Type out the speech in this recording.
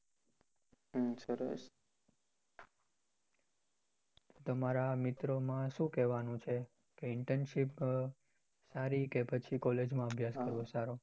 તમારા મિત્રો માં શું કહેવાનું છે internship કે પછી college અભ્યાસ કરવો સારો છે